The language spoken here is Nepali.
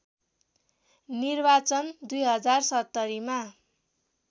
निर्वाचन २०७०मा